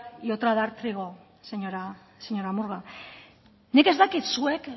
y otra dar trigo señora murga nik ez dakit zuek